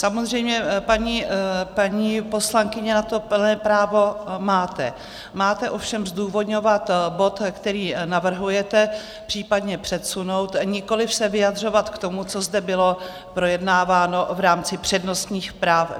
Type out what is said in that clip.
Samozřejmě, paní poslankyně, na to plné právo máte, máte ovšem zdůvodňovat bod, který navrhujete případně přesunout, nikoliv se vyjadřovat k tomu, co zde bylo projednáváno v rámci přednostních práv.